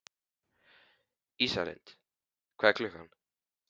Ísalind, hvað er klukkan?